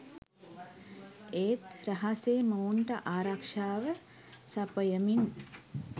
ඒත් රහසේ මොවුන්ට ආරක්ෂාව සපයමින්